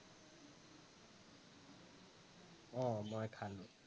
অ মই খালো